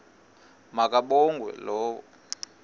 ma kabongwe low